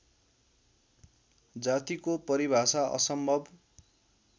जातिको परिभाषा असम्भव